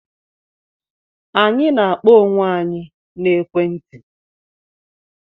Anyị na-akpọ onwe anyị na ekwe nti